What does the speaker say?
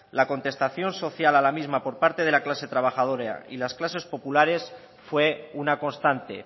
la contestación social de la misma por parte de la clase trabajadora y las clases populares fue una constante